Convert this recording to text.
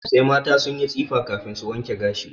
Sai mata sun yi tsifa kafin su wanke gashi.